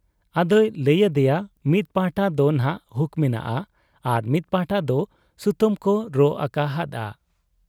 ᱟᱫᱚᱭ ᱞᱟᱹᱭ ᱟᱫᱮᱭᱟ ᱢᱤᱫ ᱯᱟᱦᱴᱟ ᱫᱚᱱᱷᱟᱜ ᱦᱩᱠ ᱢᱮᱱᱟᱜ ᱟ ᱟᱨ ᱢᱤᱫ ᱯᱟᱦᱴᱟ ᱫᱚ ᱥᱩᱛᱟᱹᱢ ᱠᱚ ᱨᱚᱜ ᱟᱠᱟ ᱦᱟᱫ ᱟ ᱾